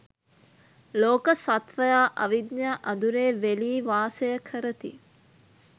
ලෝක සත්ත්වයා අවිද්‍යා අඳුරේ වෙලී වාසය කරති.